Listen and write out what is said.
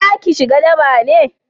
za ki shiga daba ne?